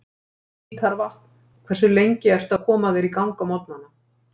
við hítarvatn Hversu lengi ertu að koma þér í gang á morgnanna?